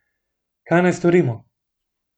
Kaj naj storimo?